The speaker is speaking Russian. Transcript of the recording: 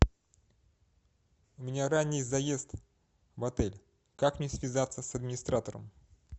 у меня ранний заезд в отель как мне связаться с администратором